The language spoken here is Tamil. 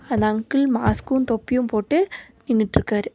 அந்த அங்கிள் மாஸ்க்கு தொப்பியு போட்டு நின்னுட்ருக்காரு.